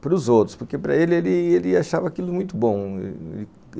para os outros, porque para ele, ele achava aquilo muito bom.